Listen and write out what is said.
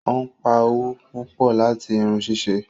Obpá owó pupọ láti irun ṣíṣe